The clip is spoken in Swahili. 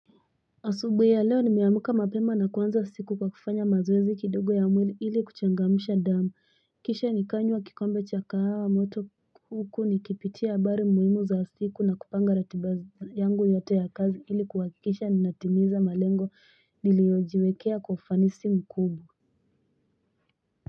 Asubu ya leo ni miyamuka mapema na kuwanza siku kwa kufanya mazuwezi kidogo ya mwili ili kuchangamisha damu. Kisha ni kanya kikombe cha kaha mwoto kuku ni kipitia bari mwimu za siku na kupanga ratiba yangu yoto ya kazi ili kwa kisha ni natimiza malengo li liyojiwekea kufanisi mukubu.